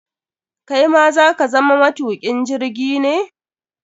Kai ma za ka zama matukin jirgi ne?